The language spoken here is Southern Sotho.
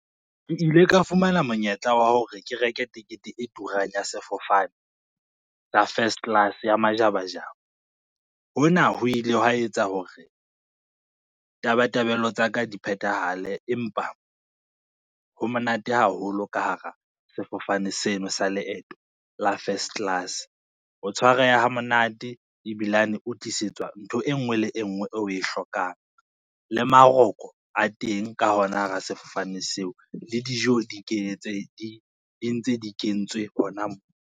Ke ile ka fumana monyetla wa hore ke reke tekete e turang ya sefofane, sa first class ya majabajaba. Hona ho ile hwa etsa hore tabatabelo tsa ka di phethahale, empa ho monate haholo ka hara sefofane seno sa leeto la first class. O tshwareha hamonate, ebilane o tlisetswa ntho e ngwe le e ngwe o we hlokang le maroko a teng ka hona hara sefofane seo le dijo di ntse di kentswe hona mo.